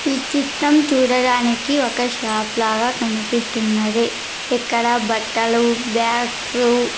ఈ చిత్రం చూడడానికి ఒక షాప్ లాగా కనిపిస్తున్నది ఇక్కడ బట్టలు బ్యాగ్స్ .